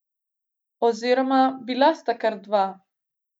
Oziroma, bila sta kar dva.